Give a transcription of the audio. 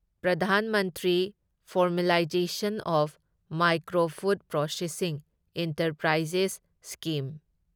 Pradhan Mantri formalisation of micro food processing enterprises scheme